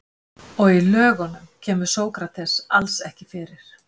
Og í Lögunum kemur Sókrates alls ekki fyrir.